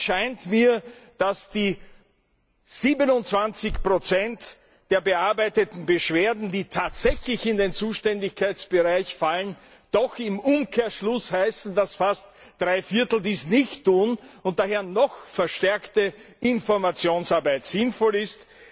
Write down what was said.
Hier scheint mir, dass die 27 der bearbeiteten Beschwerden, die tatsächlich in seinen Zuständigkeitsbereich fallen, doch im Umkehrschluss bedeuten, dass fast drei Viertel dies nicht tun und daher noch verstärkte Informationsarbeit sinnvoll ist.